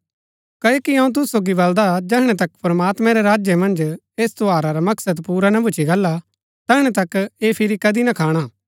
क्ओकि अऊँ तुसु सोगी बलदा जैहणै तक प्रमात्मैं रै राज्य मन्ज ऐस त्यौहारा रा मकसद पुरा ना भूच्ची गाला तैहणै तक ऐह फिरी कदी ना खाणा